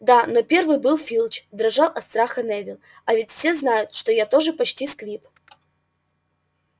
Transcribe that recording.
да но первый был филч дрожал от страха невилл а ведь все знают что я тоже почти сквиб